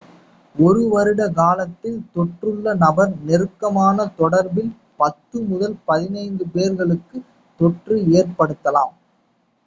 ஒரு வருட காலத்தில் தொற்றுள்ள நபர் நெருக்கமான தொடர்பில் 10 முதல் 15 பேர்களுக்கு தொற்றை ஏற்படுத்தலாம்